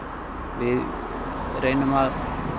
við reynum að